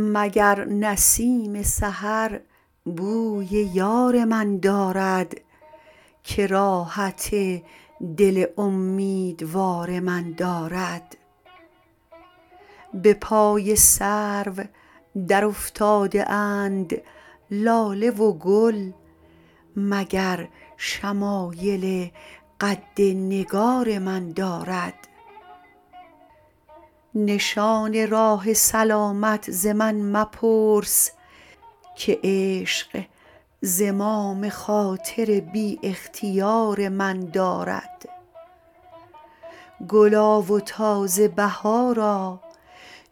مگر نسیم سحر بوی یار من دارد که راحت دل امیدوار من دارد به پای سرو درافتاده اند لاله و گل مگر شمایل قد نگار من دارد نشان راه سلامت ز من مپرس که عشق زمام خاطر بی اختیار من دارد گلا و تازه بهارا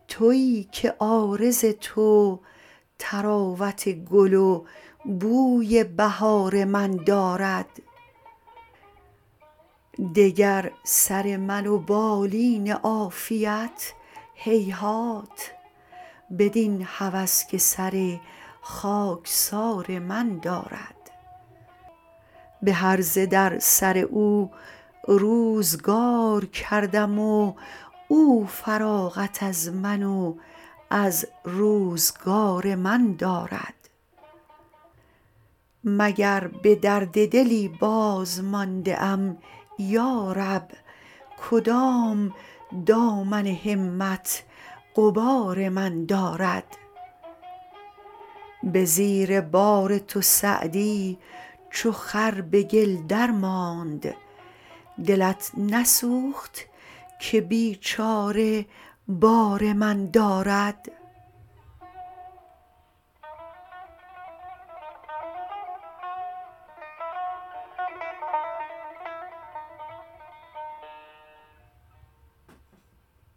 تویی که عارض تو طراوت گل و بوی بهار من دارد دگر سر من و بالین عافیت هیهات بدین هوس که سر خاکسار من دارد به هرزه در سر او روزگار کردم و او فراغت از من و از روزگار من دارد مگر به درد دلی بازمانده ام یا رب کدام دامن همت غبار من دارد به زیر بار تو سعدی چو خر به گل درماند دلت نسوخت که بیچاره بار من دارد